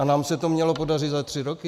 A nám se to mělo podařit za tři roky?